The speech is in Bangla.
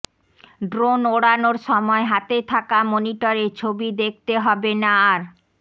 ড্রোন ওড়ানোর সময় হাতে থাকা মনিটরে ছবি দেখতে হবে না আর